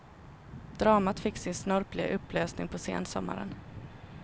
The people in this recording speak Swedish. Dramat fick sin snöpliga upplösning på sensommaren.